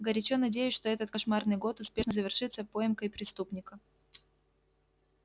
горячо надеюсь что этот кошмарный год успешно завершится поимкой преступника